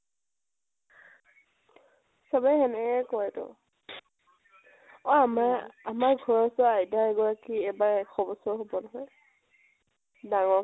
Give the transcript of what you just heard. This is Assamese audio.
চবে হেনেকে কয়তো। অ আমাৰ আমাৰ ঘৰৰ উচৰৰ আইতা এগৰাকি এবাৰ এশ বছৰ হব নহয়। ডাঙ্গৰকে